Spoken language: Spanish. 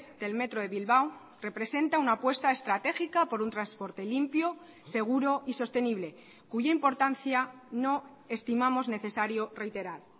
del metro de bilbao representa una apuesta estratégica por un transporte limpio seguro y sostenible cuya importancia no estimamos necesario reiterar